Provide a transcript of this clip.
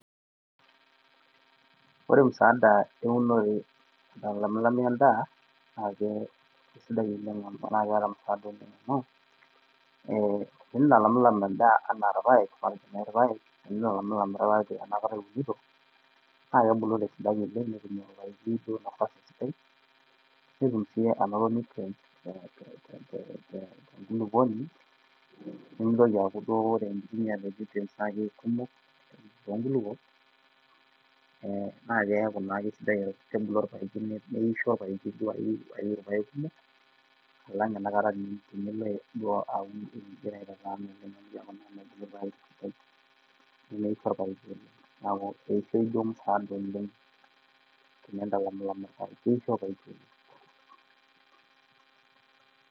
Woore msaada ewunore naitalamilami endaa naa kesidai oleng amu ketaa msaada oleng amu enentilamilam endaa enaa ilpaek enakata iwunito naa ketubulu tesidai naa kidim sii anoto nutrients tenkulukuoni nemeitoki aku wore nutrients na kumok tonkulukuok nakeyaa nakeaku kebulu olpaeki naa ketum ilpaek kumok alang eniloo aitatan oleng amu keaku naa mebulu ilpaek esidai neisho olpaeki oleng keaku keishoo msaada oleng ekeisho olpaeki oleng